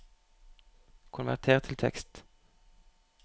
konverter til tekst